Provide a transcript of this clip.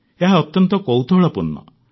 ଏହା ଅତ୍ୟନ୍ତ କୌତୂହଳପୂର୍ଣ୍ଣ